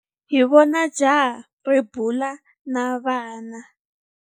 Hi vone jaha ri bula na vana.